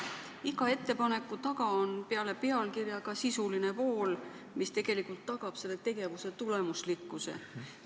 Iga ettepaneku taga on peale pealkirja ka sisuline pool, mis tegelikult tagab selle tegevuse tulemuslikkuse.